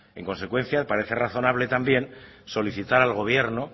en consecuencia parece razonable también solicitar al gobierno